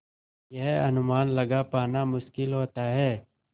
यह अनुमान लगा पाना मुश्किल होता है